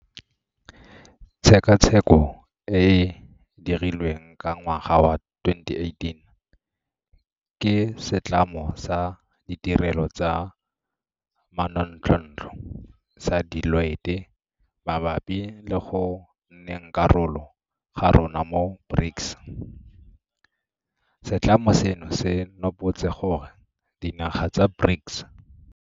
Tshekatsheko e e dirilweng ka ngwaga wa 2018 ke setlamo sa ditirelo tsa manontlhotlho sa Deloitte mabapi le go nneng karolo ga rona mo BRICS, setlamo seno se nopotse gore dinaga tsa BRICS.